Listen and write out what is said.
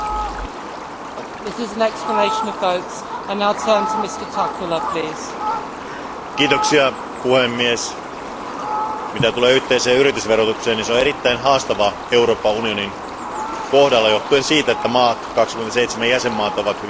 Arvoisa puhemies, mitä tulee yhteiseen yritysverotukseen, niin se on erittäin haastavaa Euroopan unionin kohdalla, johtuen siitä, että 27 jäsenvaltiota ovat hyvin erilaisia.